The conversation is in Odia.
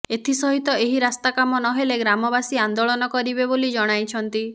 ଏଥିସହିତ ଏହି ରାସ୍ତା କାମ ନ ହେଲେ ଗ୍ରାମବାସୀ ଆନ୍ଦୋଳନ କରିବେ ବୋଲି ଜଣାଇଛନ୍ତି